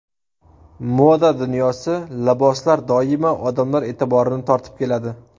Moda dunyosi, liboslar doimo odamlar e’tiborini tortib keladi.